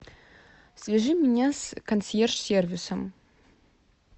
свяжи меня с консьерж сервисом